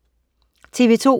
TV2: